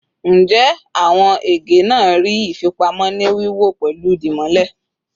Njẹ awọn ege naa ni ifipamo ni wiwọ pẹlu dimole?